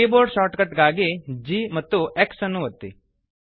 keyboard shortcut ಗಾಗಿ ಗ್ಯಾಂಪ್ಎಕ್ಸ್ ಒತ್ತಿ